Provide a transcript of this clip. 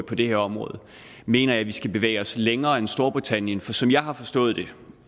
på det her område mener jeg at vi skal bevæge os længere end storbritannien for som jeg har forstået det